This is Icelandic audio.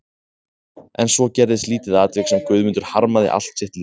En svo gerðist lítið atvik sem Guðmundur harmaði allt sitt líf.